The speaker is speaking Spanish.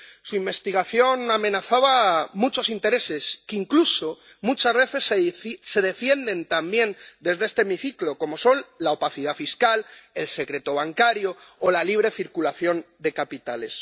Su investigación amenazaba muchos intereses que incluso muchas veces se defienden también desde este hemiciclo, como son la opacidad fiscal, el secreto bancario o la libre circulación de capitales.